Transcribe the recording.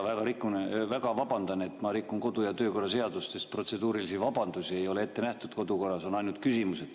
Väga vabandan, et ma rikun kodu‑ ja töökorra seadust, sest protseduurilisi vabandusi ei ole ette nähtud, kodukorras on ainult küsimused.